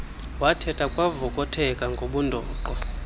wathetha kwavokotheka ngobundoqo